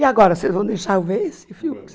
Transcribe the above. E agora, vocês vão deixar eu ver esse filme?